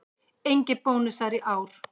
Engir bónusar í ár